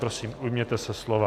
Prosím, ujměte se slova.